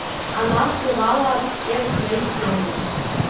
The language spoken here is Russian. она скрывала от всех свои слезы